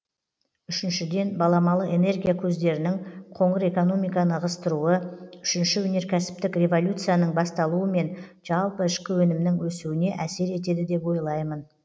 үшіншіден баламалы энергия көздерінің қоңыр экономиканы ығыстыруы үшінші өнеркәсіптік революцияның басталуы мен жалпы ішкі өнімнің өсуіне әсер етеді деп ойлаймын